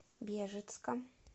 бежецком